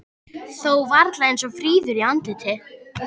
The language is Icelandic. Þó varla eins fríður í andliti.